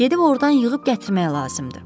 Gedib ordan yığıb gətirmək lazımdır.